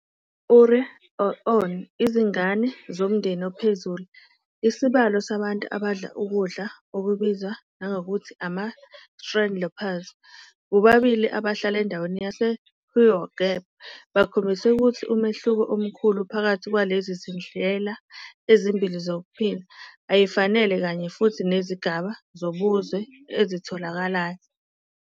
Uriǁ'aeǀ'ona, Izingane zomndeni ophezulu, isibalo sabantu abadla ukudla, okubizwa nangokuthi "ama-Strandlopers", bobabili abahlala endaweni yase ǁHuiǃgaeb, bakhombisa ukuthi umehluko omkhulu phakathi kwalezi zindlela ezimbili zokuphila ayifanele kanye futhi nezigaba zobuzwe ezitholakalayo.